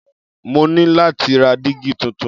Mo ní láti ra dígí tuntun.